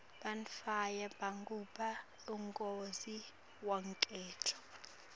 bantfwana bagubha umgodzi wenkento